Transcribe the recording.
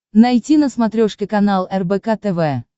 найти на смотрешке канал рбк тв